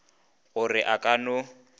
go re a ka no